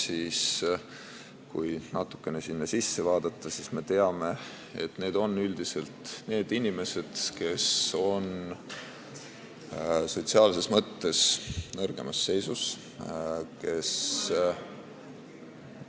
Kui sinna natukene sisse vaadata, siis me näeme, et need on üldiselt need inimesed, kes on sotsiaalses mõttes nõrgemas seisus, kes ...